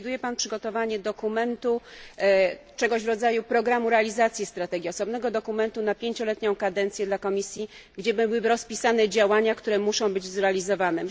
Czy przewiduje pan przygotowanie czegoś w rodzaju programu realizacji strategii, osobnego dokumentu na pięcioletnią kadencję dla Komisji, gdzie byłyby rozpisane działania, które muszą być zrealizowane?